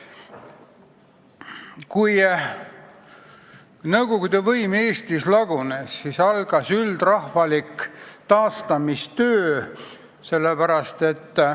Kui nõukogude võim Eestis lagunes, siis algas üldrahvalik taastamistöö.